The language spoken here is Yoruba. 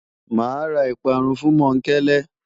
Màá ra ìparun fún Mọ́ńkele.